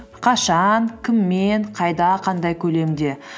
қашан кіммен қайда қандай көлемде